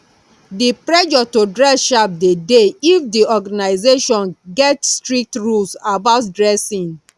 di pressure to dress sharp de dey if di organisation get strict rules about dressing